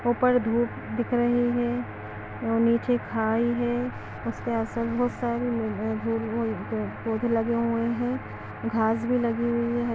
ऊपर धूप दिख रहे हैं और नीचे खाई है उसके असर -बसल पौधे लगे हुए हैं घास भी लगी हुई है।